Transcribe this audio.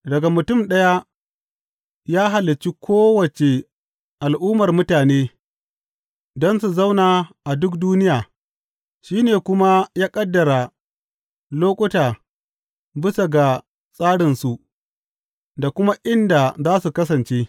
Daga mutum ɗaya, ya halicci kowace al’ummar mutane, don su zauna a duk duniya; shi ne kuma ya ƙaddara lokuta bisa ga tsarinsu da kuma inda za su kasance.